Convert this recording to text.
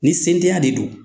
Ni sentanya de don.